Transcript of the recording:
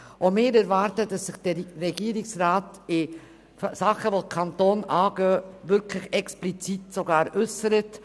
Auch wir erwarten, dass sich der Regierungsrat zu Angelegenheiten, die den Kanton angehen, explizit äussert.